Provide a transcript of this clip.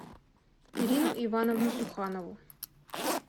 ирину ивановну суханову